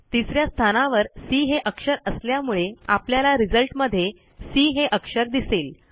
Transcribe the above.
तिस या स्थानावर सी हे अक्षर असल्यामुळे आपल्याला रिझल्टमध्ये सी हे अक्षर दिसेल